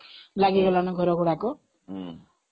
ଲାଗିଗଲାଣି ନା ଘର ଗୁଡାକ